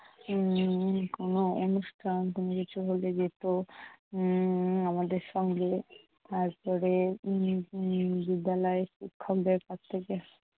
উম কোনো অনুষ্ঠান কোনো কিছু হলে যেত। উম আমাদের সঙ্গে, তারপরে উম উম বিদ্যালয়ের শিক্ষকদের কাছ থেকে,